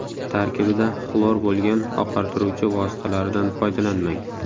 Tarkibida xlor bo‘lgan oqartiruvchi vositalaridan foydalanmang.